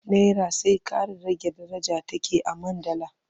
Nera sai ƙara rage daraja take a man dala.